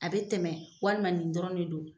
A bɛ tɛmɛ walima nin dɔrɔnw de don.